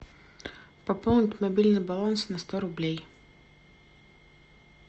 пополнить мобильный баланс на сто рублей